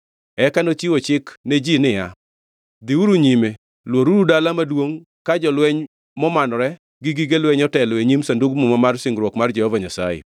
Eka nochiwo chik ne ji niya, “Dhiuru nyime! Lworuru dala maduongʼ, ka jolweny momanore gi gige lweny otelo e nyim Sandug Muma mar singruok mar Jehova Nyasaye.”